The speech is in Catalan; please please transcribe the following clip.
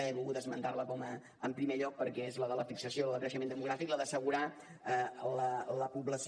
he volgut esmentar la en primer lloc perquè és la de la fixació i la del creixement demogràfic la d’assegurar la població